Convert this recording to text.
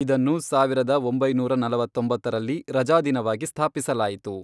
ಇದನ್ನು ಸಾವಿರದ ಒಂಬೈನೂರ ನಲವತ್ತೊಂಬತ್ತರಲ್ಲಿ ರಜಾದಿನವಾಗಿ ಸ್ಥಾಪಿಸಲಾಯಿತು.